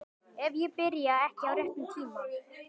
Ef ég byrja ekki á réttum tíma.